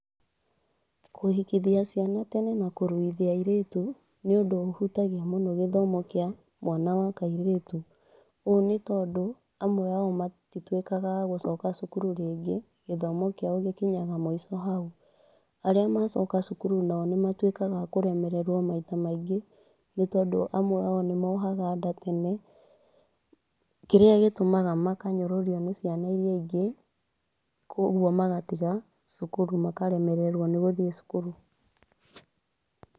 Kũhikithia ciana tene na kũruithia airĩtu nĩundũ ũhutagia mũno gĩthomo kĩa mwana wa kaĩrĩtũ ũũ nĩtondũ amwe ao matitwĩkaga a gũcoka cukuru rĩngĩ gĩthomo kĩao gĩkinyaga mũico hau. Arĩa macoka cukuru nao nĩ matuĩkaga a kũremererwo maita maingĩ nĩ tondũ amwe ao nĩmohaga nda tene kĩrĩa gĩtũmaga makanyũrũrio nĩ ciana iria ingĩ kwoguo magatiga cukuru makaremererwo nĩ guthiĩ cukuru